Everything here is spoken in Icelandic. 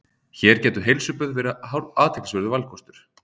Hér gætu heilsuböð verið athyglisverður valkostur.